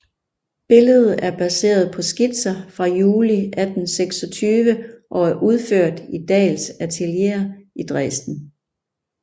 Billedet er baseret på skitser fra juli 1826 og er udført i Dahls atelier i Dresden